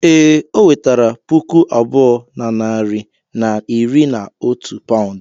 Ee, ọ wetere puku abụọ na narị na iri na otu paụnd.